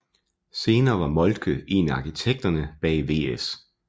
Senere var Moltke en af arkitekterne bag VS